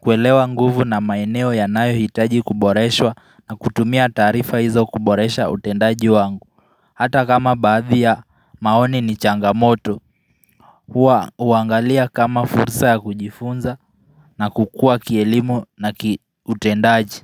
kuelewa nguvu na maeneo yanayohitaji kuboreshwa na kutumia taarifa hizo kuboresha utendaji wangu Hata kama baadhi ya maoni ni changamoto huangalia kama fursa ya kujifunza na kukua kielimu na kiutendaji.